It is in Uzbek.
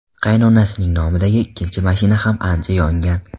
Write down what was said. Qaynonasining nomidagi ikkinchi mashina ham ancha yongan.